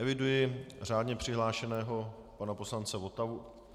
Eviduji řádně přihlášeného pana poslance Votavu.